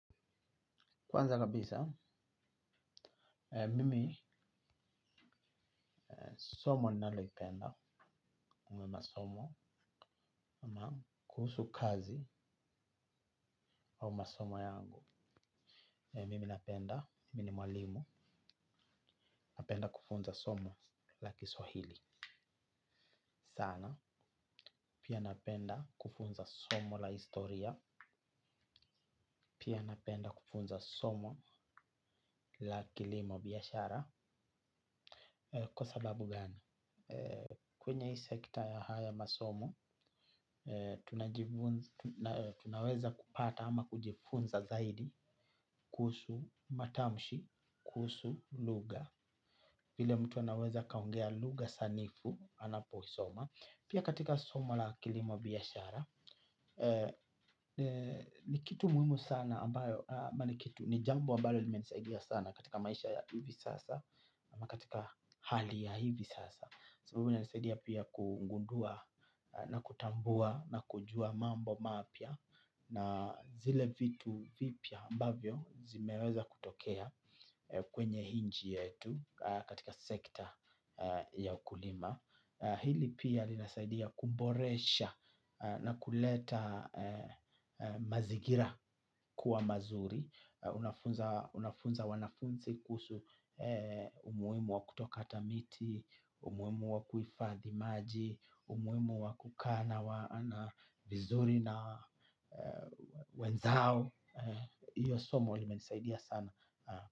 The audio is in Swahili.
Kwanza kabisa, mimi somo nalolipenda au masomo ama kuhusu kazi wa masomo yangu. Mimi napenda, mimi mwalimu, napenda kufunza somo la kiswahili. Sana, pia napenda kufunza somo la historia, pia napenda kufunza somo la kilimo biyashara. Kwa sababu gani? Kwenye hii sekta ya haya masomo tunaweza kupata ama kujifunza zaidi kuhusu matamshi, kuhusu lugha vile mtu anaweza akaongea lugha sanifu anaposoma. Pia katika somo la kilimo biyashara ni kitu muhimu sana ambayo ni jambo ambayo limenisadia sana katika maisha ya hivi sasa ama katika hali ya hivi sasa sababu wina nisaidia pia kungundua na kutambua na kujua mambo mapya na zile vitu vipya ambavyo zimeweza kutokea kwenye inchi yetu katika sekta ya ukulima. Hili pia linasaidia kumboresha na kuleta mazigira kuwa mazuri. Unafunza wanafunzi kuhusu umuimu wa kutokata miti, umuimu wa kuifadhi maji, umuimu wa kukana wana vizuri na wenzao. Iyo somo linasaidia sana.